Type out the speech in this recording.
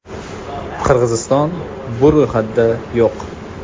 Qirg‘iziston bu ro‘yxatda yo‘q.